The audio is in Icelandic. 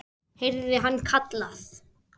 heyrði hann kallað.